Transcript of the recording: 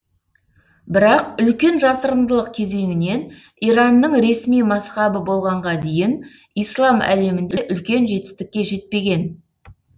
бірақ үлкен жасырындылық кезеңінен иранның ресми мазһабы болғанға дейін ислам әлемінде үлкен жетістікке жетпеген